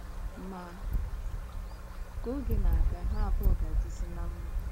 Ma, ka oge na - aga, ha abụọ ga - adịzi ná mma.